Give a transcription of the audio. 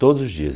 Todos os dias.